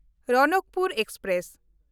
Ranakpur express